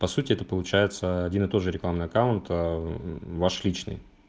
по сути это получается один и тот же рекламный аккаунт ээ ваш личный